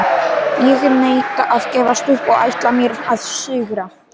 Ég neita að gefast upp og ætla mér að sigra.